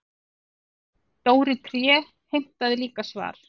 Dóri tré heimtaði líka svar.